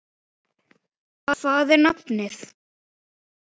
Hvað er nafnið?